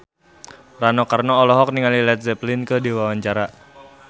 Rano Karno olohok ningali Led Zeppelin keur diwawancara